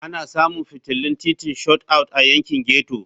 Ana samun fitilun titin Shot Out a yankin ghetto.